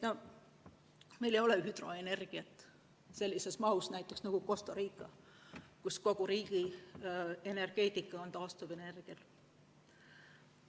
Meil ei ole hüdroenergiat sellises mahus näiteks nagu Costa Rical, kus kogu riigi energeetika põhineb taastuvenergial.